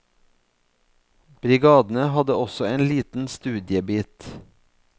Brigadene hadde også en liten studiebit.